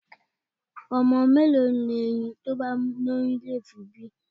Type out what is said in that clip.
Ọmọ mẹ́lòó ni erin tí ó bá lóyún yóò fi bí?